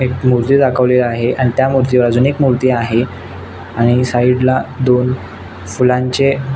एक मुर्ती दाखवली आहे आणि त्या मुर्ती च्या बाजुनी एक मुर्ती आहे आणि साइड ला दोन फुलांचे --